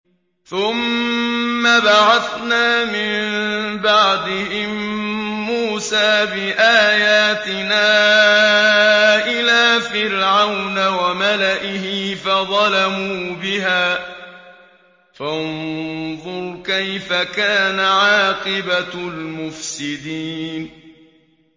ثُمَّ بَعَثْنَا مِن بَعْدِهِم مُّوسَىٰ بِآيَاتِنَا إِلَىٰ فِرْعَوْنَ وَمَلَئِهِ فَظَلَمُوا بِهَا ۖ فَانظُرْ كَيْفَ كَانَ عَاقِبَةُ الْمُفْسِدِينَ